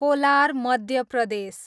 collar, Madhya Pradesh